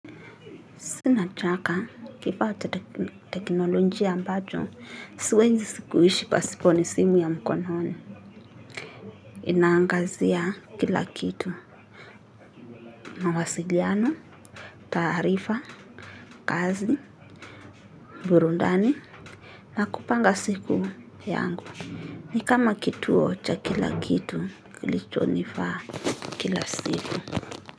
Sina chaka, kifata tekinolojiq ambacho, siwezi sikuishi pasipo ni simu ya mkononi. Inaangazia kila kitu, mawasiliano, taarifa, kazi, burundani, na kupanga siku yangu. Ni kama kituo cha kila kitu, kili chonifaa kila siku.